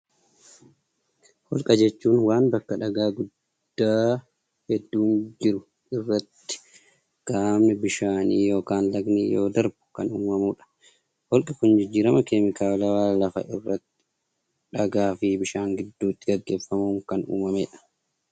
Holqa jechuun waan bakka dhagaa guddaa hedduun keessa jiru irratti qaamni bishaanii yokin lagni yeroo darbu kan uumamuu dha. Holqi kun jijjirama keemikaalawaa lafa irratti dhagaa fi bishaan gidduutti gaggeeffamuun kan uumamee dha.